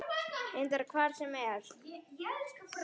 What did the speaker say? Reyndar hvar sem er.